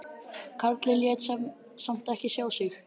Karlinn lét samt ekki sjá sig.